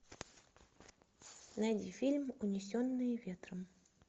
найди фильм унесенные ветром